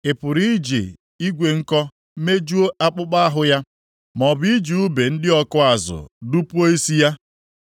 Ị pụrụ iji igwe nko mejuo akpụkpọ ahụ ya maọbụ iji ùbe ndị ọkụ azụ dupuo isi ya?